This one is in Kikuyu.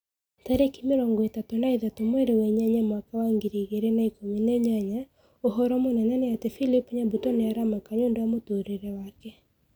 Tarĩki mĩrongo ĩtatũ na ithatũ mweri wa inyanya mwaka wa ngiri igĩrĩ na ikũmi na inyanya ũhoro mũnene nĩ ati philip nyabuto nĩ aramaka nĩũndũ wa mũtũrĩre wake